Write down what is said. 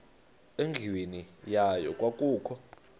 endlwini yayo kwakukho